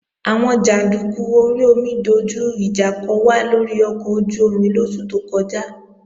Àwọn jàndúkú orí omi dojú ìjà kò wá lórí ọkọ̀ ojú-omi lóṣù tó kọjá